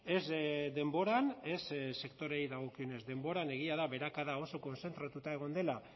ez denboran ez sektoreei dagokienez denboran egia da beherakada oso kontzentratuta egon dela